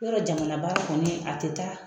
Yɔrɔ jamanabaara kɔni a tɛ taa